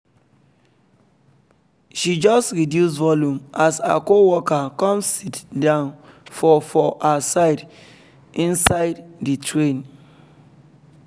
she just reduce volume as her coworker come sit down for for her side inside the train